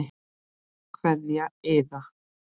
Kveðja Iða.